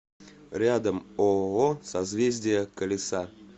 рядом ооо созвездие колеса